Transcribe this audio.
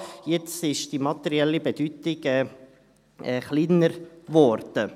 Jetzt ist die materielle Bedeutung kleiner geworden.